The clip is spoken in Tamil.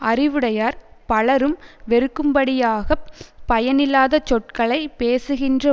அறிவுடையார் பலரும் வெறுக்கும் படியாக பயனில்லாத சொற்களை பேசுகின்ற